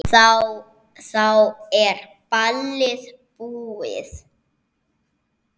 Þá er ballið búið.